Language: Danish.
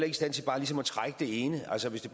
i stand til bare ligesom at trække det ene altså hvis det